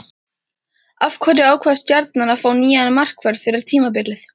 Af hverju ákvað Stjarnan að fá nýjan markvörð fyrir tímabilið?